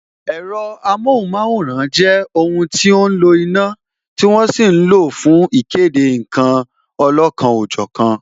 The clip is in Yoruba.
Ẹ̀rọ amohunmaworan jẹ́ ohun tí ó ń lo iná, tí wọ́n sì ń lo fún ìkéde nkan olọ́kan ọ jọ̀kan